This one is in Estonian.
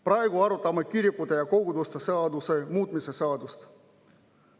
Praegu me arutame kirikute ja koguduste seaduse muutmise seadust.